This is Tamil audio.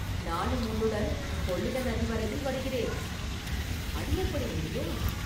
நானும் உன்னுடன் கொள்ளிட நதி வரையில் வருகிறேன்.” “அது எப்படி முடியும்?